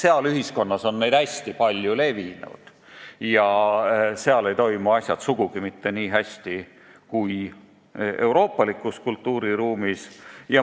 Sealses ühiskonnas on need hästi levinud ja seal ei toimu asjad sugugi mitte nii hästi kui euroopalikus kultuuriruumis.